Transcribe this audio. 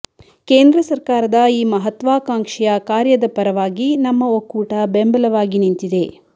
ಕೇಂದ್ರ ಸರ್ಕಾರದ ಈ ಮಹತ್ವಾಕಾಂಕ್ಷೆಯ ಕಾರ್ಯದ ಪರವಾಗಿ ನಮ್ಮ ಒಕ್ಕೂಟ ಬೆಂಬಲವಾಗಿ ನಿಂತಿದೆ